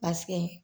Paseke